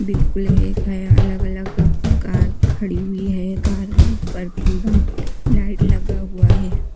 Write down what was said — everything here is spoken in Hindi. बिल्कुल एक है अलग-अलग कार खड़ी हुई है कार पर पूरा लाइट लगा हुआ है।